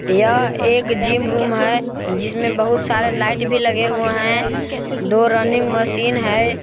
यह एक gym room है जिसमें बहुत सारे लाइट भी लगे हुए हैं दो रनिंग मशीन है।